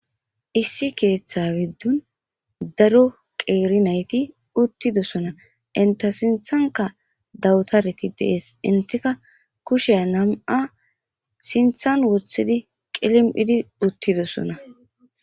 Issi keeththa giddon daro qeeri nayti uttidoosona. Enta sinthanka dawutareti de'osona. Entika kushe nam'a sinthan woththidi qilim'idi doosona.